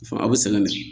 Fa aw bɛ sɛgɛn de